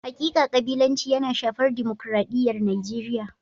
Hakika kabilanci yana shafar dimukraɗiyar Nijeriya.